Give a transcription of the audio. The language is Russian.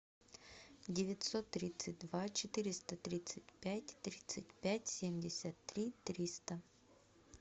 девятьсот тридцать два четыреста тридцать пять тридцать пять семьдесят три триста